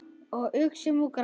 Og uxum úr grasi.